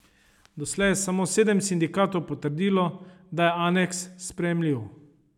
Doslej je samo sedem sindikatov potrdilo, da je aneks sprejemljiv.